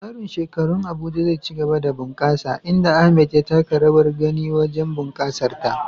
Tsarin shekarun Abuja zai ci gaba da bunƙasa, inda Ahmad ya taka rawar gani wajen bunƙasar ta.